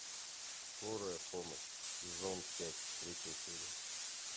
скорая помощь сезон пять третья серия